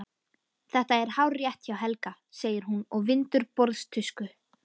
Þetta er hárrétt hjá Helga, segir hún og vindur borðtusku.